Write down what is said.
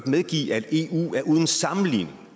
medgive at eu uden sammenligning